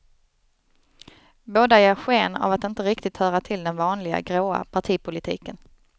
Båda ger sken av att inte riktigt höra till den vanliga, gråa partipolitiken.